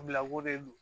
Bilakoo de don